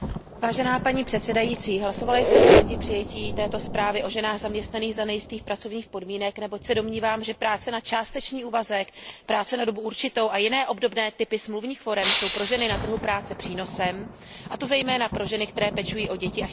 Hlasovala jsem proti přijetí této zprávy o ženách zaměstnaných za nejistých pracovních podmínek, neboť se domnívám, že práce na částečný úvazek, práce na dobu určitou a jiné obdobné typy smluvních forem jsou pro ženy na trhu práce přínosem, a to zejména pro ženy, které pečují o děti a chtějí mít zároveň zaměstnání.